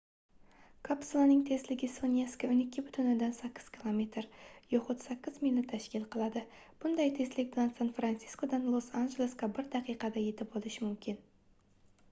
kapsulaning tezligi soniyasiga 12,8 kilometr yoxud 8 milni tashkil qiladi bunday tezlik bilan san-fransiskodan los-anjelesga bir daqiqada yetib olish mumkin